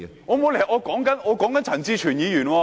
我沒有離題，我在談論陳志全議員。